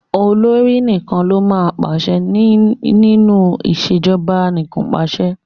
Olórí nìkan ló máa ń pàse ní nínú ìṣèjọba anìkànpàṣẹ.